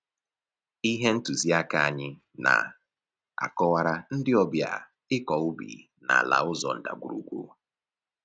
Ihe ntụzi aka anyị na-akọwara ndị ọbịa ịkọ ubi n'ala ụzọ ndagwurugwu